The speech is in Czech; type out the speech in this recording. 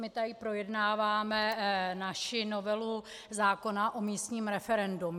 My tady projednáváme naši novelu zákona o místním referendu.